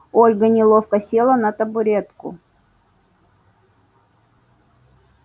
ольга неловко села на табуретку